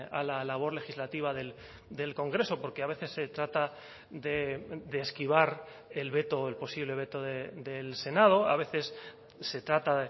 a la labor legislativa del congreso porque a veces se trata de esquivar el veto el posible veto del senado a veces se trata